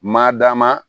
Madamu